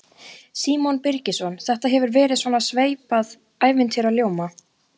Símon Birgisson: Þetta hefur verið svona sveipað ævintýraljóma?